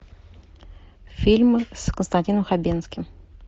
фильмы с константином хабенским